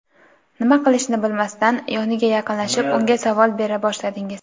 Nima qilishni bilmasdan yoniga yaqinlashib unga savol bera boshladingiz.